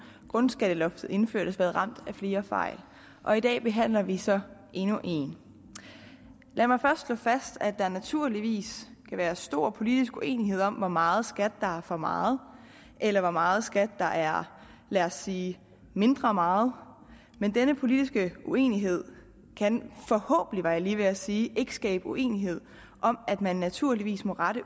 grundskatteloftets indførelse været ramt af flere fejl og i dag behandler vi så endnu en lad mig først slå fast at der naturligvis kan være stor politisk uenighed om hvor meget skat der er for meget eller hvor meget skat der er lad os sige mindre meget men denne politiske uenighed kan forhåbentlig var jeg lige ved at sige ikke skabe uenighed om at man naturligvis må rette